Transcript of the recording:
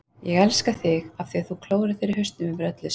Ég elska þig af því þú klórar þér í hausnum yfir öllu, sagði